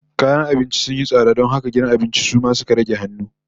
Kayan abinci sun yi tsada don haka gidan abincin su ma suka rage hannu